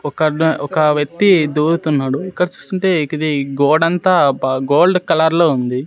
ఒక అత ఒక వ్యక్తి దురుతున్నాడు ఇక్కడ చూస్తుంటే ఇది గోడంత అంత బ గోల్డ్ కలర్ లో ఉంది.